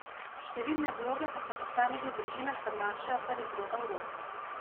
Številne vloge pa se v posameznih družinah prenašajo kar iz roda v rod.